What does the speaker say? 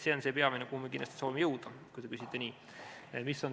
See on see peamine koht, kuhu me kindlasti soovime jõuda, kui te nii küsite.